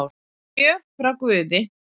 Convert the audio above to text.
Gjöf frá guði